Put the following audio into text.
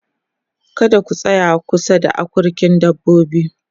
kada ku tsaya kusa da akurkin dabbobi